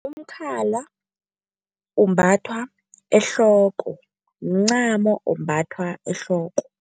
Umkhala umbathwa ehloko, mncamo ombathwa ehloko.